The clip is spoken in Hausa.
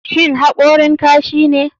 Shin hakori kashine?